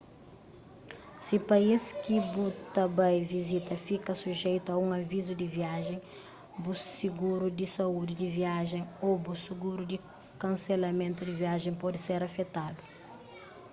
si país ki bu ta bai vizita fika sujeitu a un avizu di viajen bu siguru di saúdi di viajen ô bu siguru di kanselamentu di viajen pode ser afetadu